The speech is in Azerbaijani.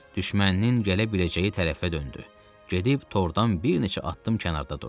Düşməninin gələ biləcəyi tərəfə döndü, gedib tordan bir neçə addım kənarda durdu.